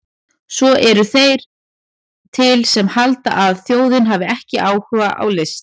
Svo eru þeir til sem halda að þjóðin hafi ekki áhuga á list!